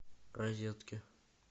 розетки